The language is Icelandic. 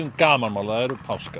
gamanmál það eru páskar